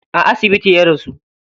A asibiti ya rasu.